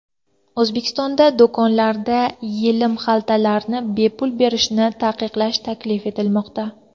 O‘zbekistonda do‘konlarda yelim xaltalarni bepul berishni taqiqlash taklif etilmoqda.